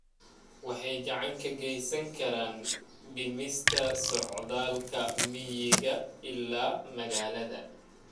Waxay gacan ka geysan karaan dhimista socdaalka miyiga ilaa magaalada.